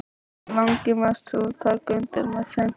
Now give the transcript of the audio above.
Þó hana langi mest til að taka undir með þeim.